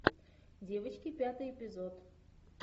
девочки пятый эпизод